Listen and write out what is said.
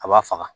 A b'a faga